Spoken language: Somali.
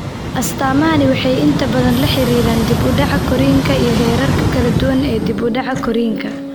Astaamahani waxay inta badan la xiriiraan dib u dhaca korriinka iyo heerarka kala duwan ee dib u dhaca korriinka.